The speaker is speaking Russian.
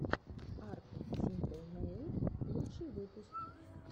арт симпл нэйл лучший выпуск